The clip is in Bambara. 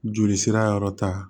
Joli sira yɔrɔ ta